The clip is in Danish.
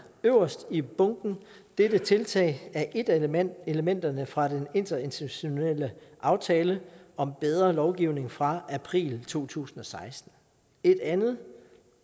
øverst i bunken dette tiltag er et af elementerne elementerne fra den interinstitutionelle aftale om bedre lovgivning fra april to tusind og seksten et andet